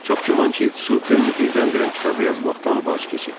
Çox güman ki, Tsupen birdən-birə kitabı yazmaqdan vaz keçib.